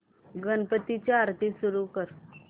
गणपती ची आरती सुरू कर